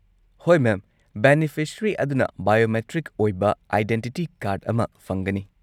ꯍꯣꯏ, ma'am! Beneficiary ꯑꯗꯨꯅ biometric ꯑꯣꯏꯕ ꯑꯥꯏꯗꯦꯟꯇꯤꯇꯤ ꯀꯥꯔꯗ ꯑꯃ ꯐꯪꯒꯅꯤ꯫